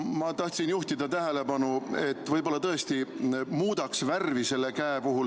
Ma tahtsin juhtida tähelepanu, et võib-olla tõesti muudaks selle käe värvi.